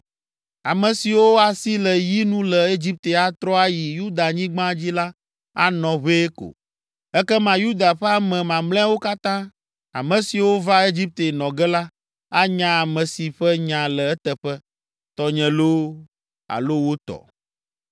Ame siwo asi le yi nu le Egipte atrɔ ayi Yudanyigba dzi la anɔ ʋɛe ko, ekema Yuda ƒe ame mamlɛawo katã, ame siwo va Egipte nɔ ge la, anya ame si ƒe nya le eteƒe, tɔnye loo, alo wo tɔ.’